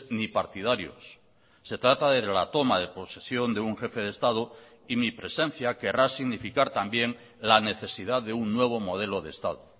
ni partidarios se trata de la toma de posesión de un jefe de estado y mi presencia querrá significar también la necesidad de un nuevo modelo de estado